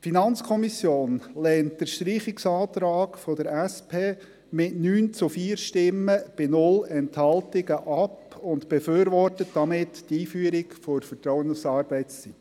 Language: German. Die FiKo lehnt den Streichungsantrag der SP mit 9 zu 4 Stimmen bei 0 Enthaltungen ab und befürwortet damit die Einführung der Vertrauensarbeitszeit.